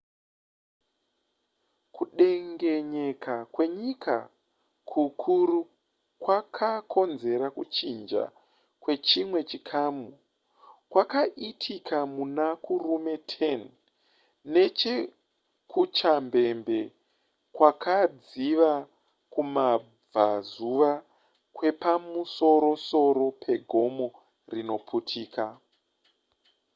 kudengenyeka kwenyika kukuru kwakakonzera kuchinja kwechimwe chikamu kwakaitika muna kurume 10 neche kuchambembe kwakadziva kumabvazuva kwepamusorosoro pegomo rinoputika